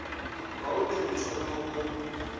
wa u tou thoma wo